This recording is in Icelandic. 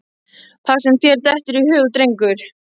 Það sem þér dettur í hug, drengur.